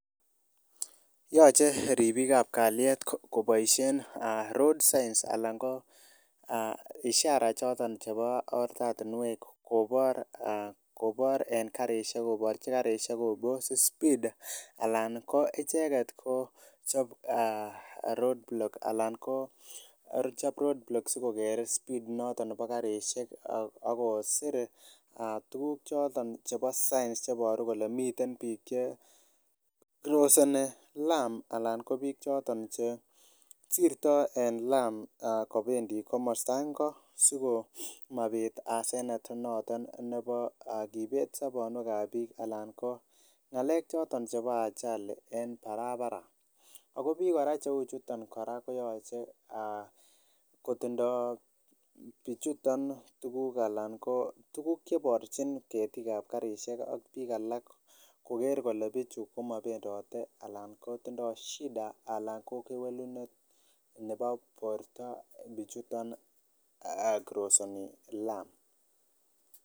Yache ribikab kaliet kobaishien road signs anan ko ishara choto chebo oret kobar en karisiek, kobarchi karisiek sikopose speed anan icheket Kochab road blocks Alan Kochab road blocks sikokere speed nebo karisiek Ako sire tuguk choto chebo signs kobaru kole miten bik che crossing alarm kobendii kamasto ngo sikomabit asenet noto nebo kibetu sabonuek kab bik anan ko ng'alekab ajali en parapara. Ako bik cheuu chuton konyalchin kotindo tukuk chebarchin ketik ketikab karisiek koker kole ko krosenivlamit